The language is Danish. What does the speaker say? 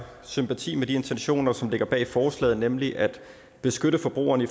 sympati med de intentioner som ligger bag forslaget nemlig at beskytte forbrugerne